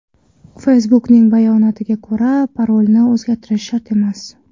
Facebook’ning bayonotia ko‘ra, parolni o‘zgartirish shart emas.